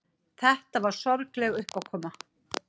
Þetta var sorgleg uppákoma.